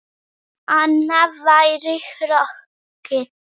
Annað væri hroki.